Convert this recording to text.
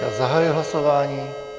Já zahajuji hlasování.